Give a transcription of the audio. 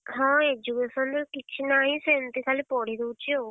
ହଁ education ରେ କିଛି ନାହିଁ ସେମତି ଖାଲି ପଢିଦଉଚି ଆଉ।